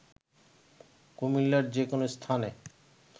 কুমিল্লার যে কোনো স্থানে